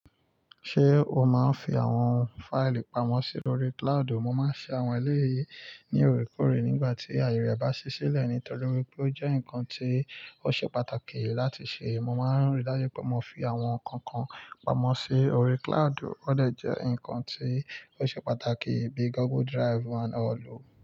Ṣé o máa ń fi àwọn fáìlì pamọ́ sí orí cloud? Mo máa ń ṣe àwọn eléyìí ní òrekore nígbà tí àyè rẹ bá ṣi silẹ̀ nítorí wípé ó jẹ́ nǹkan tí ó ṣe pàtàkì láti ṣe. Mo máa ń rí dájú pé mo fi àwọn nǹkan kan pamọ́ sí orí cloud, ó lè jẹ́ nǹkan tí ó ṣe pàtàkì bíi Google Drive and all.